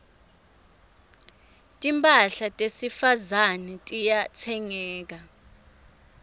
timphahla tesifazane tiyatsengeka